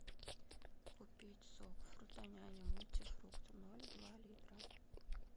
купить сок фрутоняня мультифрукт ноль два литра